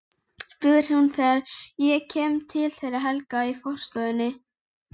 spyr hún þegar ég kem til þeirra Helga í forstofunni.